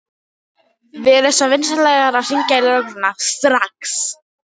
Verið svo vinsamlegir að hringja á lögregluna strax.